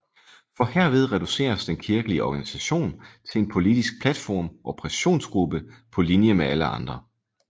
For herved reduceres den kirkelige organisation til en politisk platform og pressionsgruppe på linje med alle andre